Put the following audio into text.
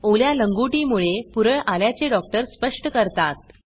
ओल्या लंगोटी डाइपरमुळे पुरळ आल्याचे डॉक्टर स्पष्ट करतात